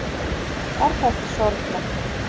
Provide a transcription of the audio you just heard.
Er það ekki sorglegt?